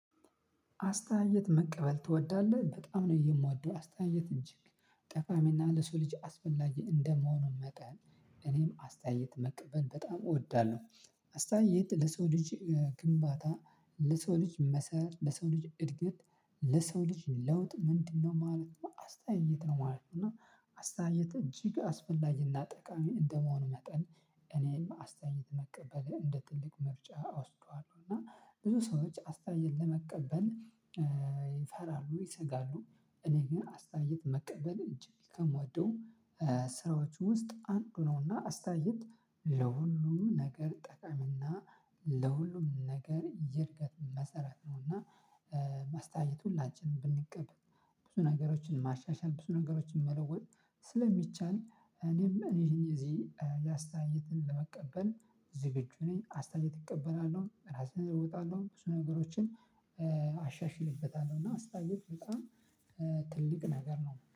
አስተያየት መቀበል ትወዳለህ? በጣም ነው የምወደው። አስተያየት ጠቃሚ እና ለሰው ልጅ አስፈላጊ እንደመሆኑ መጠን፣ እኔም አስተያየት መቀበል በጣም እወዳለሁ። አስተያየት ለሰው ልጅ ግንባታ ለሰው ልጅ መሰረት ለሰው ልጅ እድገት ለሰው ልጅ ለውጥ፣ ምንድነው ማለት ነው አስተያየት ነው ማለት ነው፤ እና አስተያየት እጅግ አስፈላጊ እና ጠቃሚ እንደመሆኑ መጠን እኔም አስተያየት መቀበል እንደ ትልቅ ምርጫ አወስደዋለሁ። እና ብዙ ሰዎች አስተያየት ለመቀበል ይፈራሉ ይሰጋሉ እኔ ግን አስተያየት መቀበል እጅግ ከምወደው ስራዎች ውስጥ አንዱ ነው፤ እና አስተያየት ለሁሉም ነገር ጠቃሚ እና ለሁሉም ነገር የእድገት መሰረት ነው እና አስተያየት ሁላችንም ብንቀበል ብዙ ነገሮችን ማሻሻል ብዙ ነገሮችን መለወጥ ስለሚቻል፣ እኔም እዚህ አስተያየትን ለመቀበል ዝግጁ ነኝ። አስተያየት እቀበላለሁ ራሴን እለውጣለሁ ብዙ ነገሮችን አሻሽልበታለሁ እና አስተያየት በጣም ትልቅ ነገር ነው።